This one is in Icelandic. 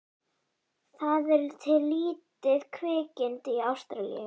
Það er til lítið kvikindi í Ástralíu.